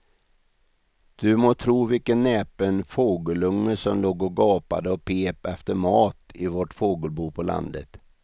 Du må tro vilken näpen fågelunge som låg och gapade och pep efter mat i vårt fågelbo på landet.